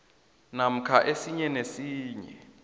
namkha esinye nesinye